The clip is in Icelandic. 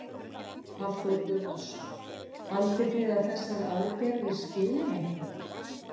Hafþór Gunnarsson: Haldið þið að þessar aðgerðir skili einhverju?